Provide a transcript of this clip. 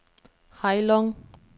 Heilong